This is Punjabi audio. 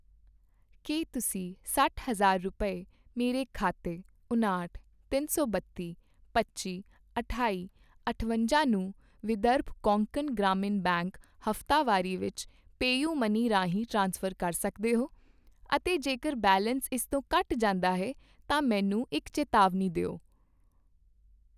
ਕੀ ਤੁਸੀਂਂ ਸੱਠ ਹਜ਼ਾਰ ਰੁਪਏ, ਮੇਰੇ ਖਾਤੇ ਉਨਾਹਠ, ਤਿੰਨ ਸੌ ਬੱਤੀ, ਪੱਚੀ, ਅਠਾਈ, ਅਠਵੰਜਾਂ ਨੂੰ ਵਿਦਰਭ ਕੋਂਕਣ ਗ੍ਰਾਮੀਣ ਬੈਂਕ ਹਫ਼ਤਾਵਾਰੀ ਵਿੱਚ ਪੇਯੁਮਨੀ ਰਾਹੀਂ ਟ੍ਰਾਂਸਫਰ ਕਰ ਸਕਦੇ ਹੋ? ਅਤੇ ਜੇਕਰ ਬੈਲੇਂਸ ਇਸ ਤੋਂ ਘੱਟ ਜਾਂਦਾ ਹੈ ਤਾਂ ਮੈਨੂੰ ਇੱਕ ਚੇਤਾਵਨੀ ਦਿਓ?